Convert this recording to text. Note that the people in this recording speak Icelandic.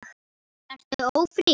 Ertu ófrísk?